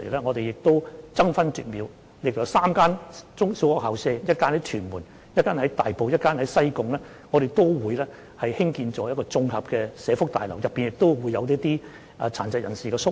我們會爭分奪秒，利用分別位於屯門、大埔及西貢3間中小學的空置校舍，興建綜合社福大樓，提供一些殘疾人士宿位。